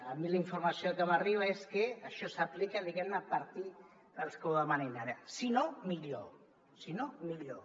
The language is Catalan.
a mi la informació que m’arriba és que això s’aplica di·guem·ne a partir dels que ho demanin ara si no millor si no millor